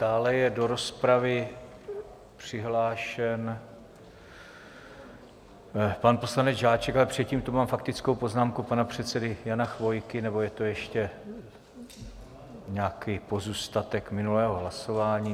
Dále je do rozpravy přihlášen pan poslanec Žáček, ale předtím tu mám faktickou poznámku pana předsedy Jana Chvojky, nebo je to ještě nějaký pozůstatek minulého hlasování?